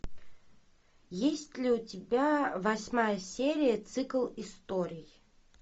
есть ли у тебя восьмая серия цикл историй